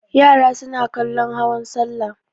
Yara suna kallon hawan salla.